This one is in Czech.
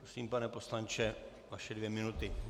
Prosím, pane poslanče, vaše dvě minuty.